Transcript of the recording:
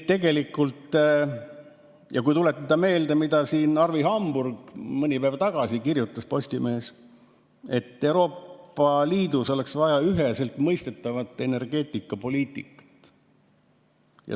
Tuletame meelde, mida Arvi Hamburg mõni päev tagasi kirjutas Postimehes: Euroopa Liidus oleks vaja üheselt mõistetavat energeetikapoliitikat.